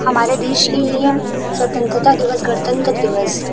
हमारे देश के लिए हम स्वतंत्रता दिवस गणतंत्र दिवस--